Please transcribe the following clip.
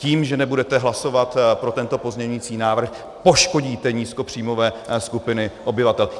Tím, že nebudete hlasovat pro tento pozměňující návrh, poškodíte nízkopříjmové skupiny obyvatel.